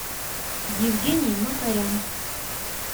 евгений макарян